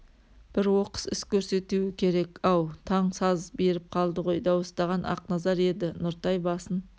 бір оқыс іс көрсетуі керек ау таң саз беріп қалды ғой дауыстаған ақназар еді нұртай басын